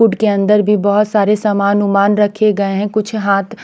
पूट के अन्दर भी बोहोत सारे सामान वामन रखे गये है कुछ हाथ में --